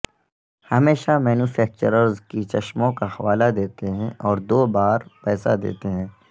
ہمیشہ مینوفیکچررز کی چشموں کا حوالہ دیتے ہیں اور دو بار پیسہ دیتے ہیں